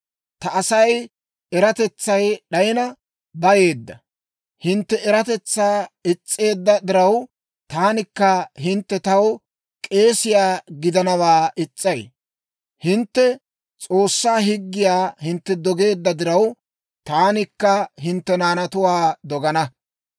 Ta Asay eratetsay d'ayina bayeedda. Hintte eratetsaa is's'eedda diraw, taanikka hintte taw k'eesiyaa gidanawaa is's'ay. Hintte S'oossaa higgiyaa hintte dogeedda diraw, taanikka hintte naanatuwaa dogana.